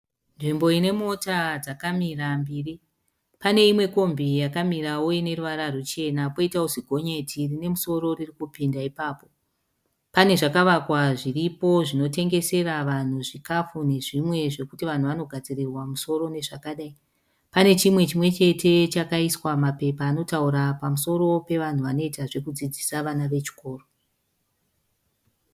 Nzvimbo ine mota dzakamira mbiri. Pane imwe kombi yakamirawo ineruvara ruchena. Poitawo zigonyeti rine musoro ririkupinda ipapo. Pane zvakavakwa zviripo zvinotengesera vanhu zvikafu nezvimwe zvekuti vanhu vanogadzirirwa musoro nezvakadai. Pane chimwe chimwe chete chakaiswa mapepa anotaura pamusoro pevanhu vanoita zvekudzidzisa vana vechikoro.